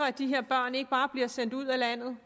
at de her børn ikke bare bliver sendt ud af landet